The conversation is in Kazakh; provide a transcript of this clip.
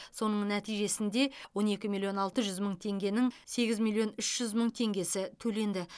соның нәтижесінде он екі миллион алты жүз мың теңгенің сегіз миллион үш жүз мың теңгесі төленді